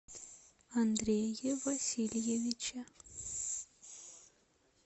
андрее васильевиче